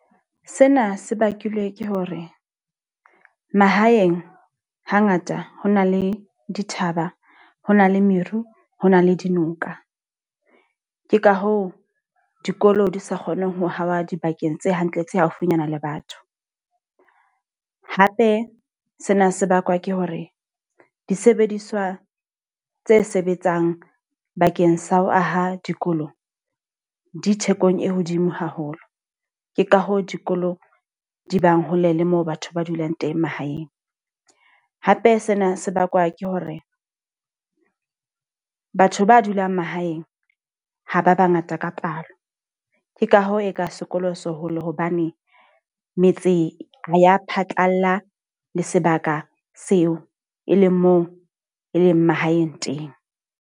Sena se bakilwe ke hore mahaeng ha ngata ho na le dithaba, ho na le meru, ho na le dinoka. Ke ka hoo dikolo di sa kgoneng ho hawa dibakeng tse hantle tse haufinyana le batho. Hape sena se bakwa ke hore disebediswa tse sebetsang bakeng sa ho aha dikolong, dithekong e hodimo haholo. Ke ka hoo dikolo di bang hole le moo batho ba dulang teng mahaeng. Hape sena se bakwa ke hore batho ba dulang mahaeng ha ba ba ngata ka palo. Ke ka hoo, e ka sekolo se hole hobane metse ya phatlalla le sebaka seo e leng moo e leng mahaeng teng.